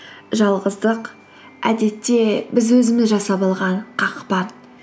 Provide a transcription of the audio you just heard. жалғыздық әдетте біз өзіміз жасап алған қақпан